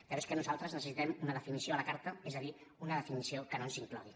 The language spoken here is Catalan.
però és que nosaltres necessitem una definició a la carta és a dir una definició que no ens inclogui